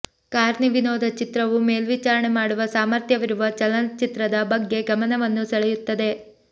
Carney ವಿನೋದ ಚಿತ್ರವು ಮೇಲ್ವಿಚಾರಣೆ ಮಾಡುವ ಸಾಮರ್ಥ್ಯವಿರುವ ಚಲನಚಿತ್ರದ ಬಗ್ಗೆ ಗಮನವನ್ನು ಸೆಳೆಯುತ್ತದೆ